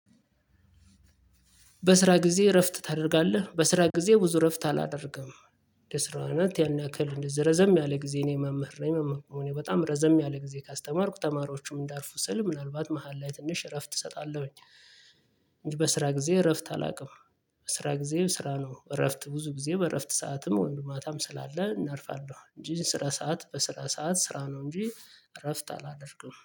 በስራ ጊዜ እረፍት ታደርጋለህ በስራ ጊዜ ብዙ እረፍት አላደርግም የስራው አይነት ያን ያክል እንደዚህ ረዘም ያለ ጊዜ እኔ መምህር ነኝ መምህር በመሆኔ እኔ በጣም ረዘም ያለ ጊዜ ካስተማርኩ ተማሪዎቹም እንዳርፉ ስል ምናልባት መሃል ላይ ትንሽ እረፍት እሰጣለሁኝ። በስራ ጊዜ እረፍት አላቅም። ስራ ጊዜ ስራ ነው እረፍት ብዙ ጊዜ በእረፍት ሰዓትም ወይም ደሞ ማታም ስላለ እናርፋለሁ እንጂ ስራ ሰዓት በስራ ሰዓት ስራ ነው እንጂ እረፍት አላደርግም